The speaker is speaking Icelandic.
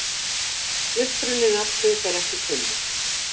Uppruni nafnsins er ekki kunnur.